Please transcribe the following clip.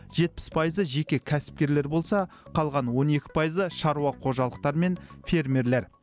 жетпіс пайызы жеке кәсіпкерлер болса қалған он екі пайызы шаруа қожалықтары мен фермерлер